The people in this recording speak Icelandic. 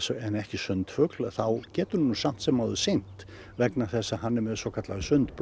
en ekki sundfugl þá getur hann samt sem áður synt vegna þess að hann er með svokallaðar